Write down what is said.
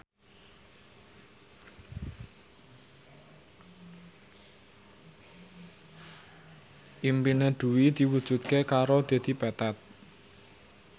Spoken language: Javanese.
impine Dwi diwujudke karo Dedi Petet